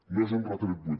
no és un retret buit